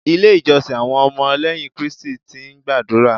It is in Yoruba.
Ilé ìjọsìn àwọn ọmọ lẹ́yìn Kristẹni ti ń gbàdúrà.